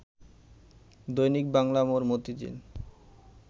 দৈনিক বাংলা মোড়, মতিঝিল